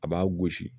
A b'a gosi